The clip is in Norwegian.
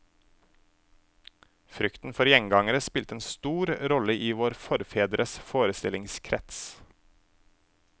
Frykten for gjengangere spilte en stor rolle i våre forfedres forestillingskrets.